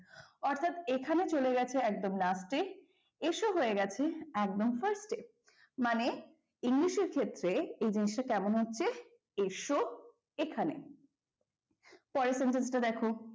অর্থাৎ এখানে চলে গেছে একদম last এ এসো হয়ে গেছে একদম first এ মানে english এর ক্ষেত্রে এই জিনিসটা কেমন হচ্ছে এসো এখানে পরের sentence টা দেখো,